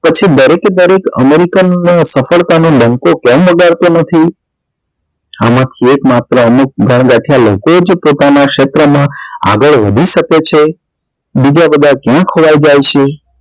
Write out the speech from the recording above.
પછી દરેક દરેક american ના સફળતા નો ડંકો કેમ વગાડતો નથી આમાં થી એક માત્ર અમુક ગનગથ્યા લોકો હોય જે પોતાના ક્ષેત્ર માં આગળ વધી શકે છે બીજા બધા ક્યા ખોવાઈ જાય છે